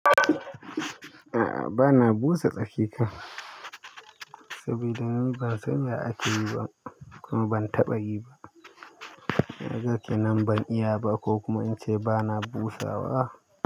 A'a, bana busa tsaki kan, saboda ni ban san ya akeyi ba kuma ban taɓa yi ba. Kaga kenan ban iyaba kokuma ince bana busawa.